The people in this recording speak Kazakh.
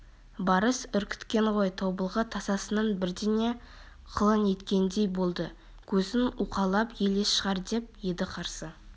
барыс үркіткен ғой тобылғы тасасынан бірдеңе қылаң еткендей болды көзін уқалап елес шығар деп еді қарсы